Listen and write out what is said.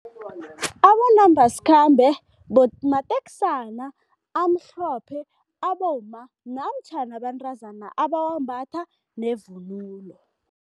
Abonambasikhambe mateksana amhlophe abomma namtjhana abentazana abawambatha nevunulo.